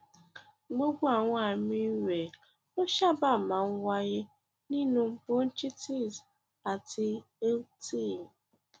gbogbo àwọn àmì rẹ ló sábà máa ń wáyé nínú bronchitis and lrti